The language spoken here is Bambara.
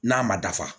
N'a ma dafa